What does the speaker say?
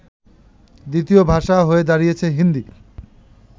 দ্বিতীয় ভাষা হয়ে দাড়িয়েছে হিন্দী